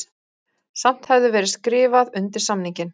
Samt hefði verið skrifað undir samninginn